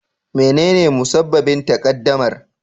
Menene musabbabin takaddamar?